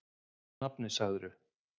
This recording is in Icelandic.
Hvert er nafnið, segirðu?